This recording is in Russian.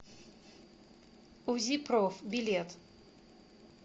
узи проф билет